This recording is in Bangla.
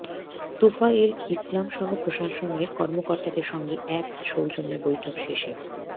তোফায়েল ইসলামসহ প্রশাসনের কর্মকর্তাদের সঙ্গে এক সৌজন্য বৈঠক শেষে